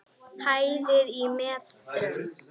Hæðir í metrum.